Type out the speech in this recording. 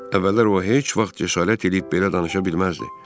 Əvvəllər o heç vaxt cəsarət eləyib belə danışa bilməzdi.